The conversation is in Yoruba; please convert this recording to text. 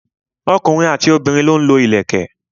ọkùnrin àti obìnrin lọ ń lo ìlẹ̀kẹ̀.